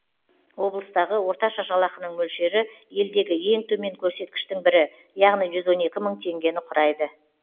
облыстағы орташа жалақының мөлшері елдегі ең төмен көрсеткіштің бірі яғни жүз он екі мың теңгені құрайды